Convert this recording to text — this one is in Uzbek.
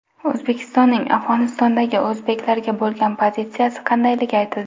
O‘zbekistonning Afg‘onistondagi o‘zbeklarga bo‘lgan pozitsiyasi qandayligi aytildi.